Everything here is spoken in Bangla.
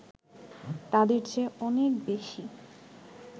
তাদের চেয়ে অনেক বেশি